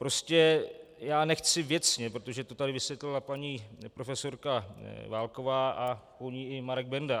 Prostě já nechci věcně, protože to tady vysvětlila paní profesorka Válková a po ní i Marek Benda.